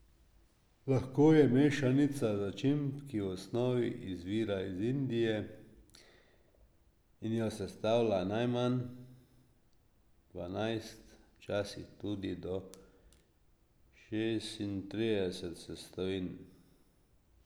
Lahko je mešanica začimb, ki v osnovi izvira iz Indije in jo sestavlja najmanj dvanajst, včasih tudi do šestintrideset sestavin.